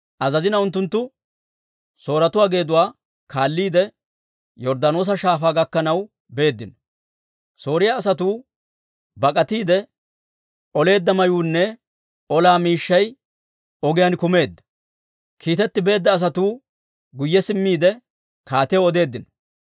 Unttunttu Sooretuwaa geeduwaa kaalliide, Yorddaanoosa Shaafaa gakkanaw beeddino. Sooriyaa asatuu bak'atiidde oleedda mayuunne olaa miishshaynne ogiyaan kumeedda. Kiitetti beedda asatuu guyye simmiide, kaatiyaw odeeddino.